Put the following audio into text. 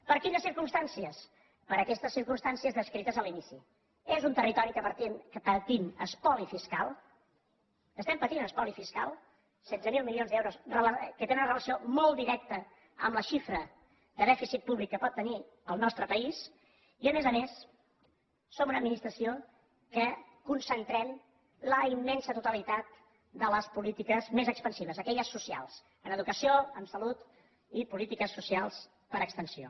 per quines circumstàncies per aquestes circumstàncies descrites a l’inici és un territori en què patim espoli fiscal estem patint espoli fiscal setze milions d’euros que tenen una relació molt directa amb la xifra de dèficit públic que pot tenir el nostre país i a més a més som una administració que concentrem la immensa totalitat de les polítiques més expansives aquelles socials en educació en salut i polítiques socials per extensió